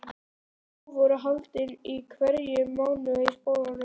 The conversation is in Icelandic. Próf voru haldin í hverjum mánuði í skólanum.